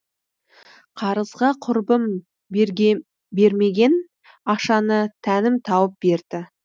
қарызға құрбым бермеген ақшаны тәнім тауып берді